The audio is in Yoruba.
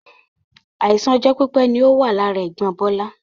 Àìsàn ọjọ́ pípé ni ó wà lára ẹ̀gbọ́n Bola